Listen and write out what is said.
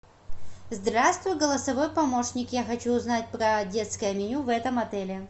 здравствуй голосовой помощник я хочу узнать про детское меню в этом отеле